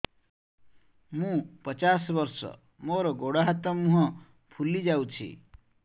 ମୁ ପଚାଶ ବର୍ଷ ମୋର ଗୋଡ ହାତ ମୁହଁ ଫୁଲି ଯାଉଛି